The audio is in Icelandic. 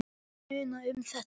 En það munar um þetta.